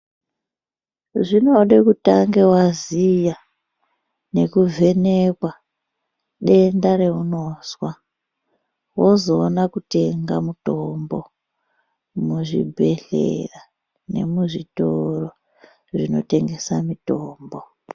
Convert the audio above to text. Zvinode kutange waziya nekuvhenekwa denda reunozwa wozoona kutenga mutombo muzvibhedhlera nemuzvitoro zvinotengese mitombo.